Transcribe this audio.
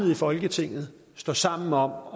i folketinget står sammen om at